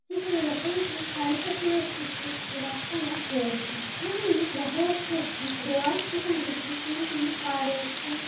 এখানে দেখা যাচ্ছে চারিপাশে বেশ কিছু গাছপালা রয়েছে এবং সামনেই দেখা যাচ্ছে একটি দেওয়াল যেখানে দেখা যাচ্ছে পেন্টিং করা রয়েছে--